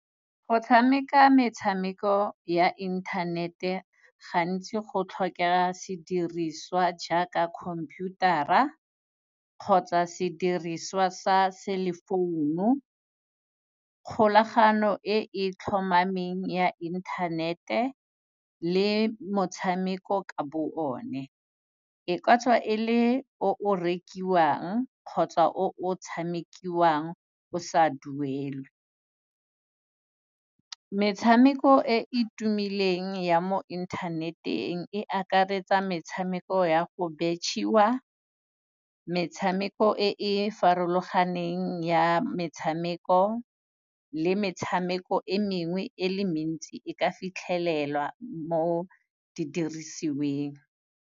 Go tshameka metshameko ya internet-e, gantsi go tlhokega se diriswa jaaka computer-a, kgotsa se diriswa sa self-phone-o, kgolagano e tlhomameng ya internet-e le motshameko ka bo one. E ka tswa e le o o rekiwang, kgotsa o tshamekiwang o sa duele. Metshameko e e tumileng ya mo internet-eng, e akaretsa metshameko ya go betšhiwa, metshameko e e farologaneng ya metshameko le metshameko e mengwe e le mentsi e ka fitlhelelwa mo didirisiweng.